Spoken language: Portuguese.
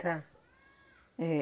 Tá é.